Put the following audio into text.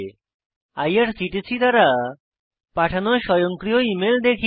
IRCTC দ্বারা পাঠানো স্বয়ংক্রিয় ইমেল দেখি